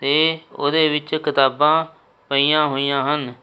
ਤੇ ਉਹਦੇ ਵਿੱਚ ਕਿਤਾਬਾਂ ਪਈਆਂ ਹੋਈਆਂ ਹਨ।